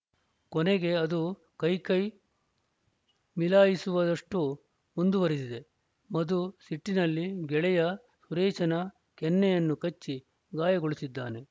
ಕೊನೆಗೆ ಅದು ಕೈ ಕೈ ಮಿಲಾಯಿಸುವಷ್ಟುಮುಂದುವರಿದಿದೆ ಮಧು ಸಿಟ್ಟಿನಲ್ಲಿ ಗೆಳೆಯ ಸುರೇಶನ ಕೆನ್ನೆಯನ್ನು ಕಚ್ಚಿ ಗಾಯಗೊಳಿಸಿದ್ದಾನೆ